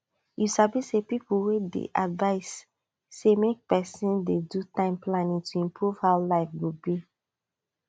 you sabi say people wey sabi advise say make person dey do time planning to improve how life go be